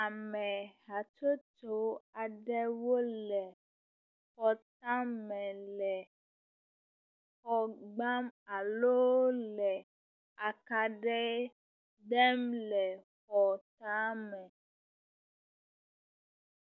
Ame hatsotso aɖewo le xɔtame le xɔ gbam alo le akaɖi dem le xɔtame.